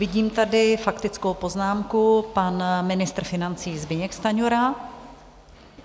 Vidím tady faktickou poznámku, pan ministr financí Zbyněk Stanjura.